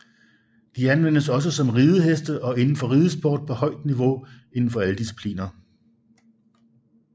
De anvendes også som rideheste og indenfor ridesport på højt niveau inden for alle discipliner